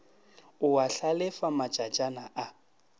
o a hlalefa matšatšana a